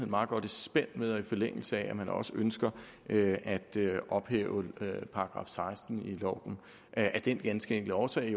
meget godt i spænd med og ligger i forlængelse af at man også ønsker at at ophæve § seksten i loven af den ganske enkle årsag